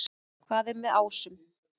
Hvað er með ásum?